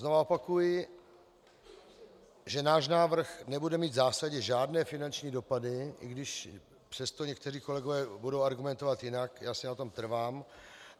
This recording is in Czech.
Znova opakuji, že náš návrh nebude mít v zásadě žádné finanční dopady, i když přesto někteří kolegové budou argumentovat jinak, já si na tom trvám.